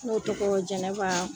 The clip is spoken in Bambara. N'o tɔgɔ jɛnɛba